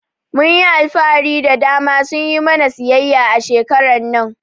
Mhn yi alfahari da ma su yi mana siyayya a shekarar nan.